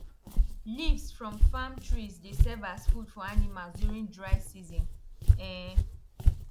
leaves from farm trees dey serve as food for animals during dry season um